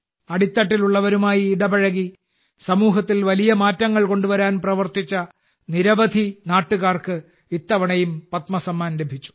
അടിത്തട്ടിലുള്ളവരുമായി ഇടപഴകി സമൂഹത്തിൽ വലിയ മാറ്റങ്ങൾ കൊണ്ടുവരാൻ പ്രവർത്തിച്ച നിരവധി നാട്ടുകാർക്ക് ഇത്തവണയും പത്മസമ്മാൻ ലഭിച്ചു